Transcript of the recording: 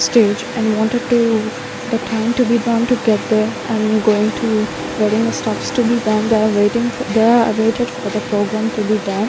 stage and wanted to the time to be get there and going to getting the stuffs to be done they are waiting for they are waited to the program to be done.